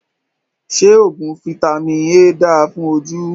Ṣé oògùn Fitami A dáa fún ojú?